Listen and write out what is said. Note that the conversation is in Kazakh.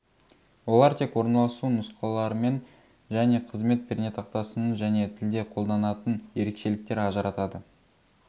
олар тек орналасу нұсқаларымен және қызмет пернетақтасының және тілде қолданатын ерекшеліктер ажыратады